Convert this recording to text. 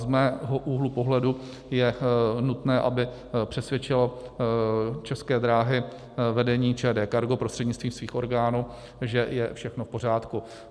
Z mého úhlu pohledu je nutné, aby přesvědčilo České dráhy vedení ČD Cargo prostřednictvím svých orgánů, že je všechno v pořádku.